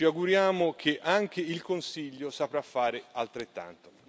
Ci auguriamo che anche il Consiglio saprà fare altrettanto.